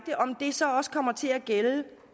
så også kommer til at gælde